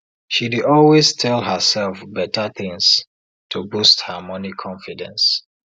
she dey always tell herself better things to boost her money confidence